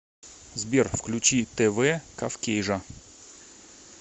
сбер включи тэ вэ кавкейжа